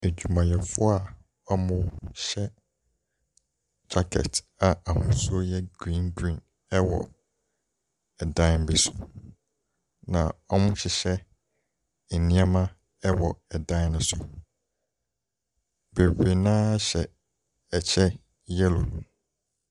Adwumayɛfoɔ a ɔhyɛ jacket a ahosuo yɛ green green ɛwɔ ɛdan bi so. Na ɔrehyehyɛ nneɛma ɛwɔ ɛdan no so. Bebree naa hyɛ ɛkyɛ yellow.